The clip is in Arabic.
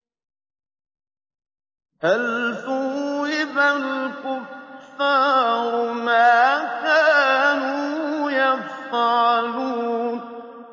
هَلْ ثُوِّبَ الْكُفَّارُ مَا كَانُوا يَفْعَلُونَ